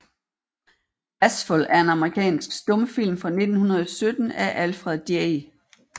Bashful er en amerikansk stumfilm fra 1917 af Alfred J